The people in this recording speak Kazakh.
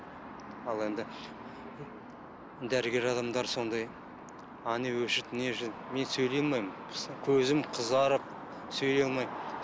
ал енді дәрігер адамдар сондай әне міне мен сөйлей алмаймын көзім қызарып сөйлей алмаймын